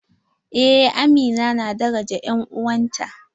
Eh amina na daraja en'uwanta.